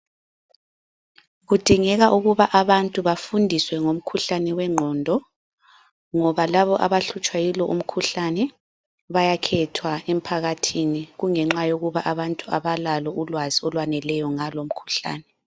Kudingeka ukuba abantu bafundiswe ngomkhuhlane wenqondo. Ngoba labo abahlutshwa yilo umkhuhlane bayakhethwa emphakathini kungenxa yokuba abantu abalalo ulwazi ngalo mkhuhlane.